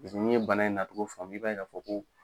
Paze n'i ye bana in natogo faamu i b'a ye ka fɔ ko